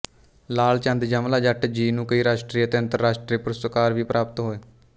ਲਾਲ ਚੰਦ ਯਮਲਾ ਜੱਟ ਜੀ ਨੂੰ ਕਈ ਰਾਸ਼ਟਰੀ ਤੇ ਅੰਤਰਰਾਸ਼ਟਰੀ ਪੁਰਸਕਾਰ ਵੀ ਪ੍ਰਾਪਤ ਹੋਏ